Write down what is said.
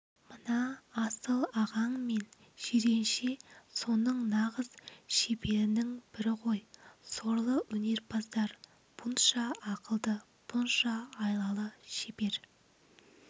мына асыл ағаң мен жиренше соның нағыз шеберініңбірі гой сорлы өнерпаздар бұнша ақылды бұнша айлалы шебер